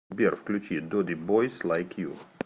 салют включи доди бойс лайк ю